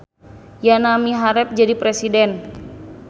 Yana miharep jadi presiden